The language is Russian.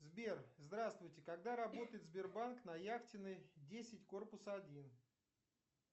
сбер здравствуйте когда работает сбербанк на яхтенной десять корпус один